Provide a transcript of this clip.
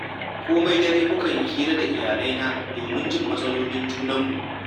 Komai dare mukan yi hira da iyalaina domin jin matsalolin junanmu